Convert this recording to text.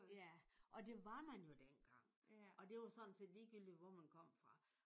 Ja. Og det var man jo dengang. Og det var sådan set ligegyldigt hvor man kom fra